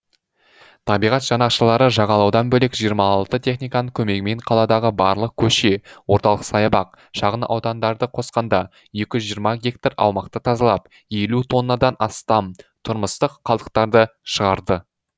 табиғат жанашырлары жағалаудан бөлек жиырма алты техниканың көмегімен қаладағы барлық көше орталық саябақ шағын аудандарды қосқанда екі жүз жиырма гектар аумақты тазалап елу тоннадан астам тұрмыстық қалдықтарды шығарды